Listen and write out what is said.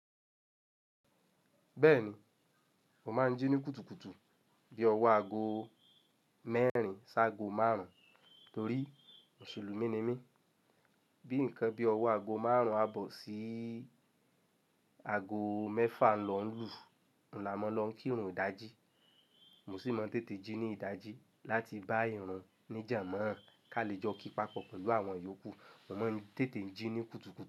Bẹ́ẹ̀ni, mo máa ń jí ní kùtùkùtù bí ọwọ́ aago mẹ́rin sí aago márùn-ún torí Mùsùlùmí ni mí. Bí nǹkan bí ọwọ́ aago márùn-ún á bọ́ sí aago mẹ́fà lọ ń lù, oun lá mọ lọ kírun ìdajì. Mo sì máa ń tètè jí ní ìdajì láti bá ìrun ní jànmọ́ ka lè jọ kí papọ̀ pẹ̀lú àwọn yòókù. Mo máa ń tètè jí ní kùtùkùtù.